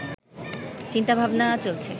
চিন্তা-ভাবনা চলছে